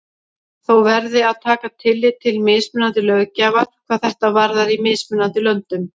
Þó verði að taka tillit til mismunandi löggjafar hvað þetta varðar í mismunandi löndum.